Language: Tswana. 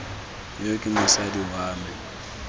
yo ke mosadi wa me